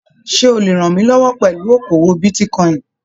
Ṣe o le rànmílọwọ́ pẹlú okoowó bitíkọ̀in?